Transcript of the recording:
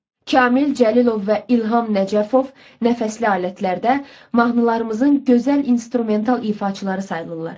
Kamil Cəlilov və İlham Nəcəfov nəfəsli alətlərdə mahnılarımızın gözəl instrumental ifaçıları sayılırlar.